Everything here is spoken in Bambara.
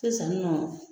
Sisan nɔ